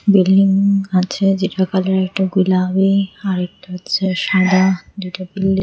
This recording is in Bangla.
বিল্ডিং আছে যেটা কালার একটা গুলাবী আর একটা হচ্ছে সাদা দুইটা বিল্ডিং ।